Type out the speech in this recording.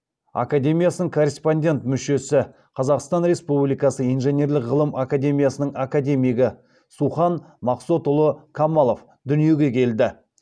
академиясының корреспондент мүшесі қазақстан республикасы инженерлік ғылым академиясының академигі сухан мақсотұлы қамалов дүниеге келді